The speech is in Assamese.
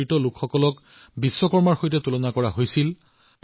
চিন্তাধাৰা এনেকুৱা হৈ পৰিছিল যে দক্ষতাআধাৰিত কাৰ্য্যবোৰ সৰু বুলি গণ্য কৰা আৰম্ভ হৈছিল